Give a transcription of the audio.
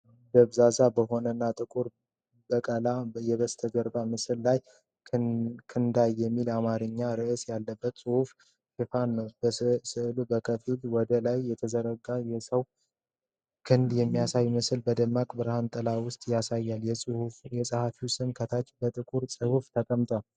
ደብዛዛ በሆነና ጥቁር በቀላ የበስተጀርባ ምስል ላይ 'ክንዳይ' የሚል የአማርኛ ርዕስ ያለበት መጽሐፍ ሽፋን ነው። ስዕሉ በከፊል ወደ ላይ የተዘረጋ የሰው ክንድ የሚመስል ምስል በደማቅ ብርሃንና ጥላ ውስጥ ያሳያል። የጸሐፊው ስም ከታች በጥቁር ጽሑፍ ተቀምጧል።